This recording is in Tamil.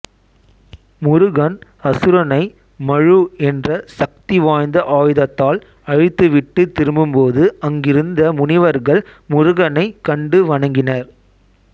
முருகன் அசுரனை மழு என்ற சக்தி வாய்ந்த ஆயுதத்தால் அழித்துவிட்டு திரும்பும்போது அங்கிருந்த முனிவர்கள் முருகனைக் கண்டுவணங்கினர்